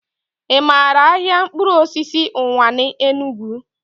I maara ahịa mkpụrụosisi Ụwanị, Enugu?